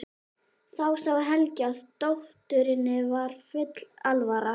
Þá sá Helgi að dótturinni var full alvara.